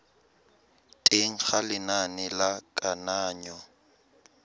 teng ga lenane la kananyo